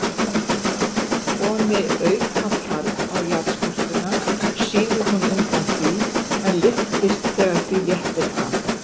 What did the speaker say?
Komi aukafarg á jarðskorpuna, sígur hún undan því, en lyftist þegar því léttir af.